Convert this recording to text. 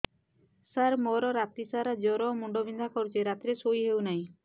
ସାର ମୋର ରାତି ସାରା ଜ୍ଵର ମୁଣ୍ଡ ବିନ୍ଧା କରୁଛି ରାତିରେ ଶୋଇ ହେଉ ନାହିଁ